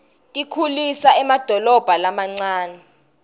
tikhulisa nemadolobha lamancane